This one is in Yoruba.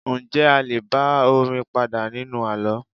Njẹ́ a lé bá orin padà nínú àlọ́?